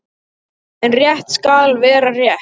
En rétt skal vera rétt.